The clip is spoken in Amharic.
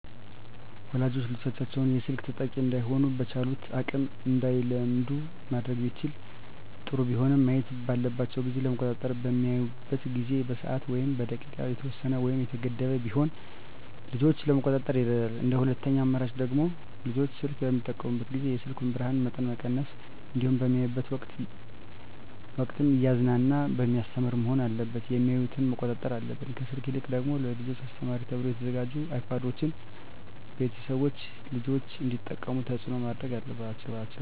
ወላጆች ልጆቻቸውን የስልክ ተጠቂ እዳይሆኑ በቻሉት አቅም እንዳይለምዱ ማድረግ ቢችሉ ጥሩ ቢሆንም ማየት ባለባቸው ጊዜ ለመቆጣጠር በሚያዩበት ጊዜ በሰዓት ወይም በደቂቃ የተወሰነ ወይም የተገደበ ቢሆን ልጆችን ለመቆጣጠር ይረዳል እንደ ሁለተኛ አማራጭ ደግሞ ልጆች ስልክ በሚጠቀሙበት ጊዜ የስልኩን የብርሀኑን መጠን መቀነስ እንዲሁም በሚያዩበት ወቅትም እያዝናና በሚያስተምር መሆን አለበት የሚያዮትን መቆጣጠር አለብን። ከስልክ ይልቅ ደግሞ ለልጆች አስተማሪ ተብለው የተሰሩ አይፓዶችን ቤተሰቦች ልጆች እንዲጠቀሙት ተፅዕኖ ማድረግ አለባቸው።